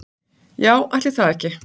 Já, ætli það ekki.